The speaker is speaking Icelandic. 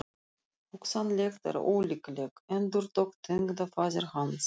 Hugsanlegt en ólíklegt endurtók tengdafaðir hans.